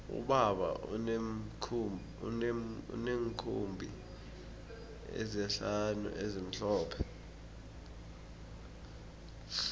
ubaba uneenkhumbi ezihlanu ezimhlophe